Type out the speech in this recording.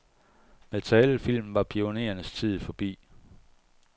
Med talefilmen var pionerernes tid forbi.